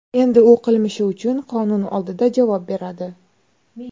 Endi u qilmishi uchun qonun oldida javob beradi.